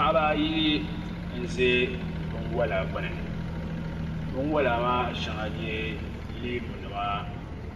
Paɣaba ayi n ʒɛ binwola gbuni binwola maa shɛŋa n nyɛ leemu nima